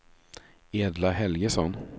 Edla Helgesson